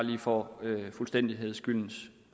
for fuldstændighedens skyld